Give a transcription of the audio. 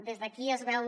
des d’aquí es veu